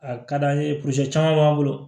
A ka d'an ye caman b'an bolo